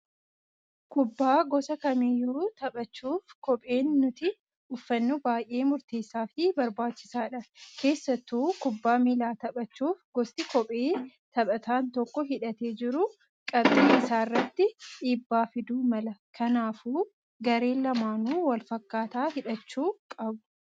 Kubbaa gosa kamiyyuu taphachuuf kopheen nuti uffannu baay'ee murteessaa fi barbaachisaadha. Keessattuu kubbaa miilaa taphachuuf gosti kophee taphataan tokko hidhatee jiru qabxii isaarratti dhiibbaa fiduu mala. Kanaafuu gareen lamaanuu walfakkaataa hidhachuu qabu.